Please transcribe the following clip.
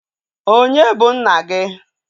Onye bụ nna gi?